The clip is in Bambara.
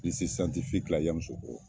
la Yamusokoro.